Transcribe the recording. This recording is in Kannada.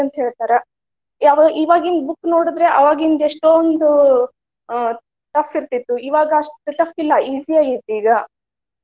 ಅಂತ ಹೇಳ್ತಾರ. ಆದ್ರ ಈವಾಗಿನ್ book ನೋಡಿದ್ರ ಅವಾಗಿಂದ ಎಷ್ಟೊಂದ ಹ್ಮ tough ಇರ್ತೆತಿ. ಇವಾಗ ಅಷ್ಟ tough ಇಲ್ಲಾ easy ಆಗೇತಿ ಈಗಾ.